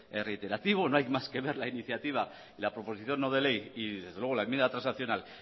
es reiterativo no hay más que ver la iniciativa y la proposición no de ley y desde luego la enmienda transaccional